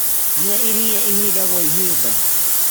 Nyua ĩrĩa ĩhĩda gwa ĩhĩda